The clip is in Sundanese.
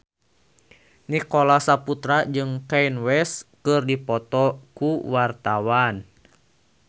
Nicholas Saputra jeung Kanye West keur dipoto ku wartawan